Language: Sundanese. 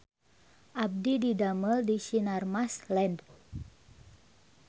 Abdi didamel di Sinarmas Land